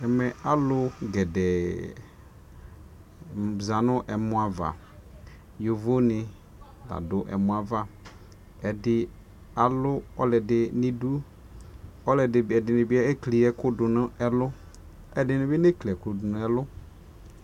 ɛmɛ alʋ gɛdɛɛ zanʋ ɛmɔ aɣa, yɔvɔ ni ladʋ ɛmɔɛ aɣa, ɛdi alʋ ɔlɔdi nʋ idʋ, ɛdinibi ɛkli ɛkʋ dʋnʋ ɛlʋ, ɛdinibi nɛ kli ɛkʋ dʋnʋ ɛlʋ